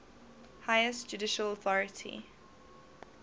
highest judicial authority